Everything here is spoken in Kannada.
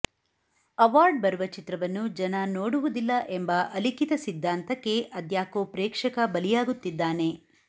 ಅವಾರ್ಡ್ ಬರುವ ಚಿತ್ರವನ್ನು ಜನ ನೋಡುವುದಿಲ್ಲ ಎಂಬ ಅಲಿಖಿತ ಸಿದ್ಧಾಂತಕ್ಕೆ ಅದ್ಯಾಕೋ ಪ್ರೇಕ್ಷಕ ಬಲಿಯಾಗುತ್ತಿದ್ದಾನೆ